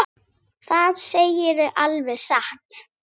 ÞAÐ SEGIRÐU ALVEG SATT.